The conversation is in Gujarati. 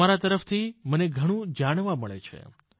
તમારા તરફથી મને ઘણું જાણવા મળે છે